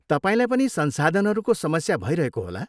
तपाईँलाई पनि संसाधनहरूको समस्या भइरहेको होला।